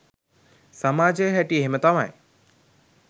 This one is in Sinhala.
සමාජයේ හැටි එහෙම තමයි